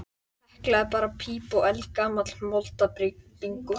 Þau minntu á hrúðruð sár eftir styrjöldina.